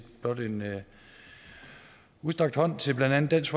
blot en udstrakt hånd til blandt andet dansk